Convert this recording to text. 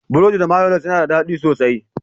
Burodi da mayonnas ya na daɗi sosai.